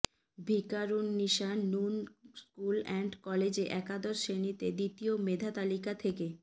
Viqarunnisa Noon school and কলেজে একাদশ শ্রেণিতে দ্বিতীয় মেধা তালিকা থেকে